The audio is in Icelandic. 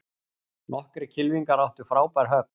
Nokkrir kylfingar áttu frábær högg